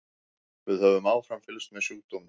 Við höfum áfram fylgst með sjúkdómnum.